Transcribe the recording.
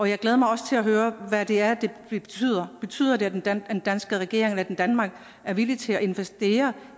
jeg glæder mig også til at høre hvad det er det betyder betyder det at den danske regering at danmark er villig til at investere